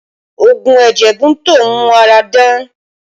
Oogun ẹ̀jẹ̀ Bunto ń mú ara dán